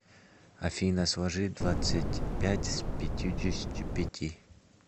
афина сложи двадцать пять с пятидесятью пяти